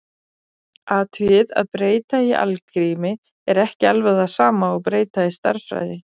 Athugið að breyta í algrími er ekki alveg það sama og breyta í stærðfræði.